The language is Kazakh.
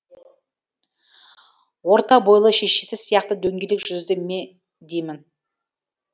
орта бойлы шешесі сияқты дөңгелек жүзді ме деймін